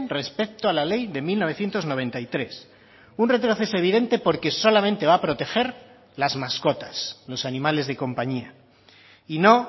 respecto a la ley de mil novecientos noventa y tres un retroceso evidente porque solamente va a proteger las mascotas los animales de compañía y no